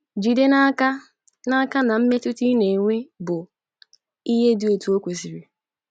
JIDE n’aka n’aka na mmetụta ị na - enwe bụ ihe dị etu o kwesịrị.